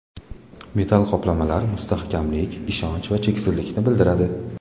Metall qoplamalar mustahkamlik, ishonch va cheksizlikni bildiradi.